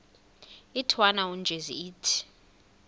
intwana unjeza ithi